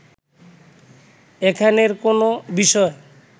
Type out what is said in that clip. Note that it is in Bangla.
এখানের কোনো বিষয়